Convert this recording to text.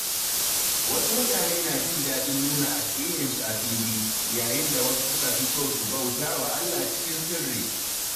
Wasu mutane na jin daɗin nuna addininsu a fili, yayin da wasu suka fi so su bauta wa Allah cikin sirri.